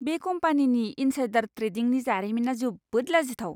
बे कम्पानिनि इन्साइडार ट्रेडिंनि जारिमिना जोबोद लाजिथाव!